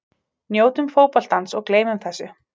Njótum fótboltans og gleymum þessu.